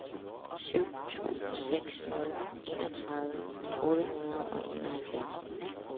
syv to seks nul enogtredive otte hundrede og enoghalvfjerds